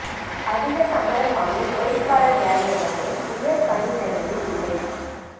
அதிகச் சம்பளம் வாங்கும் ஒயிட்காலர் வேலை எனப்படும் உயர் பணியிடங்களில் இல்லை